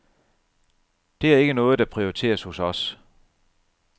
Det er ikke noget, der prioriteres hos os.